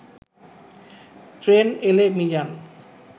train এলে মিজান